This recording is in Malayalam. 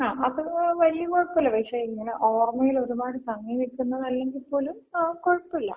ങ്ങാ അത് വലിയ കൊഴപ്പില്ല. പക്ഷെ ഇങ്ങന ഓർമയില് ഒര്പാട് തങ്ങി നിൽക്കുന്നതല്ലെങ്കി പോലും കൊഴപ്പില്ല.